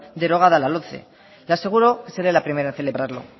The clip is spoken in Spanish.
derogada la lomce le aseguro que seré la primera en celebrarlo